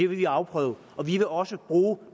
vil vi afprøve og vi vil også bruge